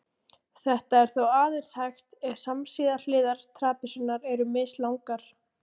Þetta er þó aðeins hægt ef samsíða hliðar trapisunnar eru mislangar.